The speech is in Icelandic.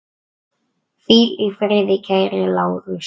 Hvíl í friði kæri Lárus.